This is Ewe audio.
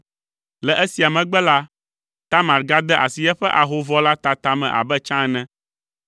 Le esia megbe la, Tamar gade asi eƒe ahovɔ la tata me abe tsã ene.